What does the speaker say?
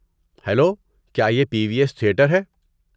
Hello, کیا یہ P V S theatre ہے؟